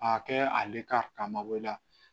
A kɛ ale ka mago la